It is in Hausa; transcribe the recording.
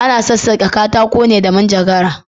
Ana sassake katako ne da cisir.